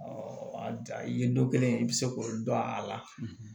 a ye dɔ kelen i bɛ se k'o dɔn a la